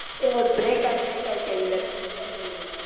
ஏய் break ஆயி break ஆயி கேக்குதுடா சிரிப்பா கேக்குது